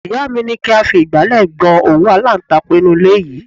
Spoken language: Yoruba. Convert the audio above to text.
Ìyá mi ní kí a fi igbale gbọn òwú alantakun inú ilé yìí.